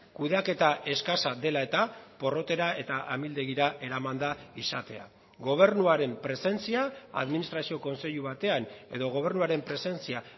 kudeaketa eskasa dela eta porrotera eta amildegira eramanda izatea gobernuaren presentzia administrazio kontseilu batean edo gobernuaren presentzia